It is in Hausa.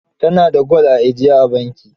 Ta na da gwal a ajiye a banki.